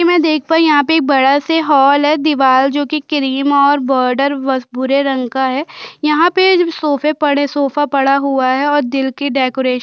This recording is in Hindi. जैसे मैं देख पाई यहाँ पे बड़ा -से हॉल है दिवाल जोकि क्रिम और बॉर्डर वस भूरे रंग का है यहाँ पे सोफे पड़े सोफा पड़ा हुआ है और दिल की डेकोरेशन --